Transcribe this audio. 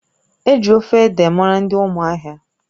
Eji ofe ede mara ndị ụmụahia